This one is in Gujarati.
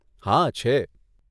હા, છે.